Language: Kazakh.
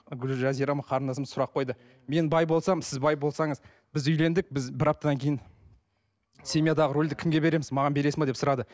гүлжазира ма қарындасым сұрақ қойды мен бай болсам сіз бай болсаңыз біз үйлендік біз бір аптадан кейін семьядағы рольді кімге береміз маған бересің бе деп сұрады